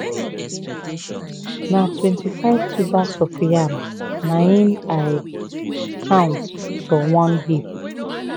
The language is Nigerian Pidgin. na 25 tubers of yam na hin i count from one hip.